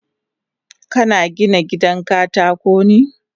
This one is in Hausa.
Kana Gina gidan katakon ne?